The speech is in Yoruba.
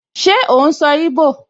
Ṣé ó n sọ íbò?